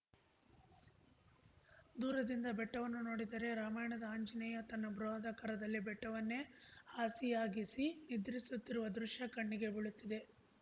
ದೂರದಿಂದ ಬೆಟ್ಟವನ್ನು ನೋಡಿದರೆ ರಾಮಾಯಣದ ಆಂಜನೇಯ ತನ್ನ ಬೃಹದಾಕಾರದಲ್ಲಿ ಬೆಟ್ಟವನ್ನೇ ಹಾಸಿಯಾಗಿಸಿ ನಿದ್ರಿಸುತ್ತಿರುವ ದೃಶ್ಯ ಕಣ್ಣಿಗೆ ಬೀಳುತ್ತದೆ